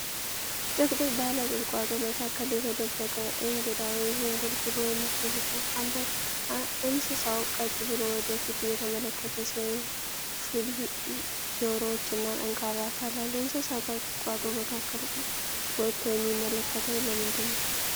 ጥቅጥቅ ባለ ቁጥቋጦ መካከል የተደበቀ "እንግዳ" (ዥንጉርጉር) ወይም ጅብ ነው። እንስሳው ቀጥ ብሎ ወደ ፊት እየተመለከተ ሲሆን ሹል ጆሮዎች እና ጠንካራ አካል አለው። እንስሳው ከቁጥቋጦው መካከል ወጥቶ የሚመለከተው ለምንድን ነው?